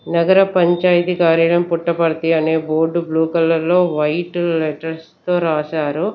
నగర పంచాయతీ కార్యాలయం పుట్టపర్తి అనే బోర్డు బ్లూ కలర్ లో వైట్ లెటర్స్ తో రాశారు.